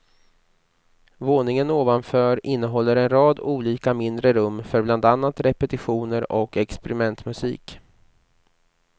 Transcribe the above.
Våningen ovanför innehåller en rad olika mindre rum för bland annat repetitioner och experimentmusik.